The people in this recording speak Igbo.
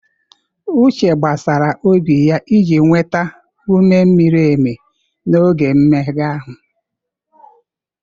Uche gbasaara obi ya iji nweta ume miri emi n'oge mmega ahụ.